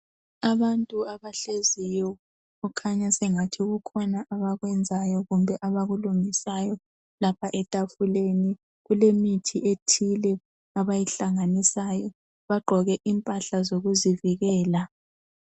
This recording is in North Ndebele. Abantu abahleziyo okhanya sengathi kukhona abakwenzayo kumbe abakulungisayo lapha etafuleni kulemithi ethile abayihlanganisayo bagqoke impahla zokuzivikela.